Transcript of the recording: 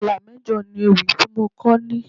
Ìlà mẹ́jọ ni ewì tí mo kọ ní.